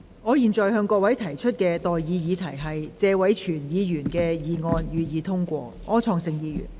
我現在向各位提出的待議議題是：謝偉銓議員動議的議案，予以通過。